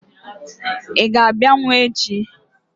Ị ga-abịanwu echi?